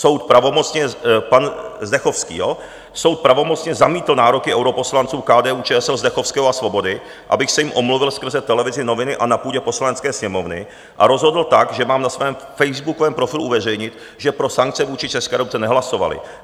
Soud pravomocně - pan Zdechovský, jo? - soud pravomocně zamítl nároky europoslanců KDU-ČSL Zdechovského a Svobody, abych se jim omluvil skrze televizi, noviny a na půdě Poslanecké sněmovny, a rozhodl tak, že mám na svém facebookovém profilu uveřejnit, že pro sankce vůči České republice nehlasovali.